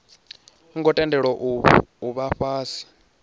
ngo tendelwa u vha fhasi